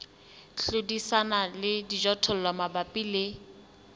hlodisana le dijothollo mabapi le